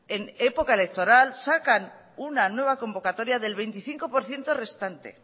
en época electoral sacan una nueva convocatoria del veinticinco por ciento restante